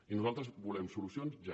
i nosaltres volem solucions ja